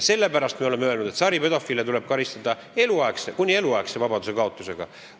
Sellepärast me oleme öelnud, et saripedofiile tuleb karistada kuni eluaegse vabadusekaotusega.